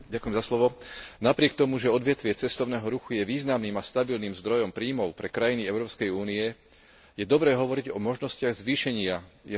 Napriek tomu, že odvetvie cestovného ruchu je významným a stabilným zdrojom príjmov pre krajiny Európskej únie, je dobré hovoriť o možnostiach zvýšenia jeho potenciálu.